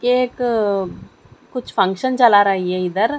एक अः कुछ फंक्शन चला रहा है ये इधर--